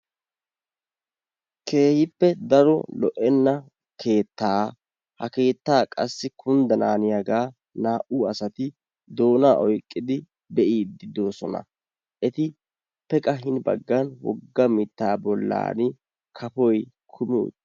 keehippe daro lo'enna keettaa, ha keettaa qassi kyndanaaniyaga naa"u asati doonaa oyqqidi be'iidi de'oosona, etappe qassi hini baggan woga mitaa bolaani kafoy kummi uttiis.